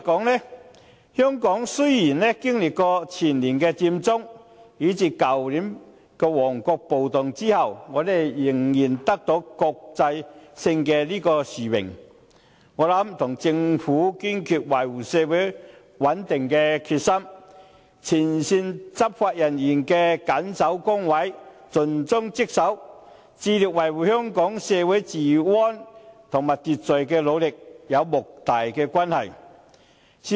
換言之，雖然經歷前年的佔中事件，以至去年旺角發生的暴動，香港仍然得到此國際性殊榮，我認為與政府堅決維護社會穩定的決心，前線執法人員在緊守崗位、盡忠職守，以及致力維護香港社會治安和秩序所作出的努力，有莫大的關係。